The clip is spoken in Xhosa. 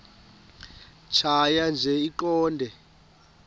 tjhaya nje iqondee